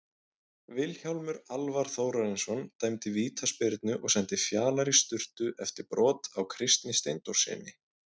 Vilhjálmur Alvar Þórarinsson dæmdi vítaspyrnu og sendi Fjalar í sturtu eftir brot á Kristni Steindórssyni.